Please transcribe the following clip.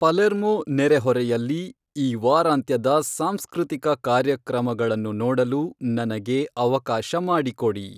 Palermo ನೆರೆಹೊರೆಯಲ್ಲಿ ಈ ವಾರಾಂತ್ಯದ ಸಾಂಸ್ಕೃತಿಕ ಕಾರ್ಯಕ್ರಮಗಳನ್ನು ನೋಡಲು ನನಗೆ ಅವಕಾಶ ಮಾಡಿಕೊಡಿ